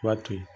I b'a to yen